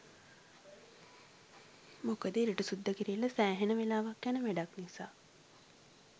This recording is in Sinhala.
මොකද ඉරටු සුද්ද කිරිල්ල සෑහෙන වෙලාවක් යන වැඩක් නිසා.